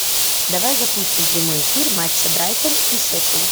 давай запустим прямой эфир матча брайтон и шеффилд